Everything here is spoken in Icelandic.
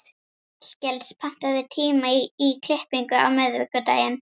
Hallgils, pantaðu tíma í klippingu á miðvikudaginn.